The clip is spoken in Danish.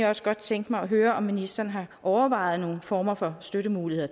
også godt tænke mig at høre om ministeren har overvejet nogle former for støttemuligheder